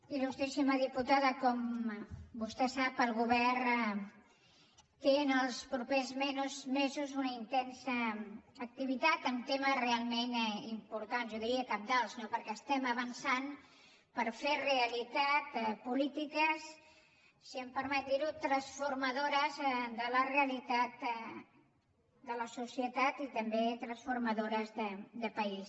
il·lustríssima diputada com vostè sap el govern té en els propers mesos una intensa activitat en temes realment importants jo diria cabdals no perquè estem avançant per fer realitat polítiques si em permet dirho transformadores de la realitat de la societat i també transformadores de país